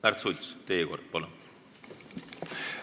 Märts Sults, teie kord, palun!